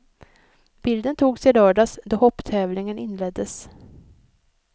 Bilden togs i lördags då hopptävlingen inleddes.